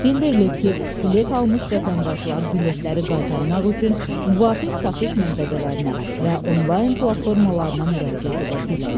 Bildirilib ki, bilet almış vətəndaşlar biletləri qaytarmaq üçün müvafiq satış məntəqələrinə və onlayn platformalarına müraciət edə bilərlər.